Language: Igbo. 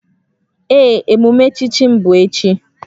Ee, emume echichi m bụ echi